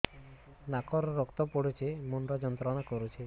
ନାକ ରୁ ରକ୍ତ ପଡ଼ୁଛି ମୁଣ୍ଡ ଯନ୍ତ୍ରଣା କରୁଛି